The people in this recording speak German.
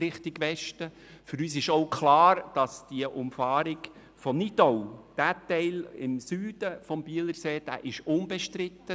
Aus unserer Sicht ist der südliche Teil der Umfahrung bei Nidau im Süden des Bielersees unbestritten.